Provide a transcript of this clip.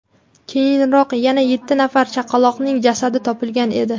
Keyinroq yana yetti nafar chaqaloqning jasadi topilgan edi .